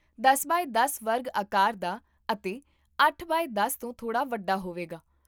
ਦਸ ਬਾਏ ਦਸ ਵਰਗ ਆਕਾਰ ਦਾ ਅਤੇ ਅੱਠ ਬਾਏ ਦਸ ਤੋਂ ਥੋੜ੍ਹਾ ਵੱਡਾ ਹੋਵੇਗਾ